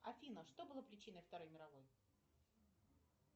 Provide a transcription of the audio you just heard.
афина что было причиной второй мировой